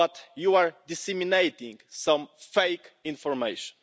You are disseminating some fake information.